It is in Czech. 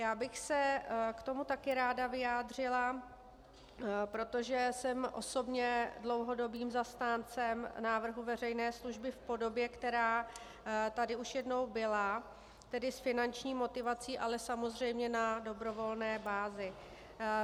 Já bych se k tomu taky ráda vyjádřila, protože jsem osobně dlouhodobým zastáncem návrhu veřejné služby v podobě, která tady už jednou byla, tedy s finanční motivací, ale samozřejmě na dobrovolné bázi.